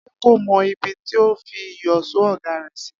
Adé kò mo̩ ibi tí ó fi ìyò̩s̩ó ò̩gá rè̩ sí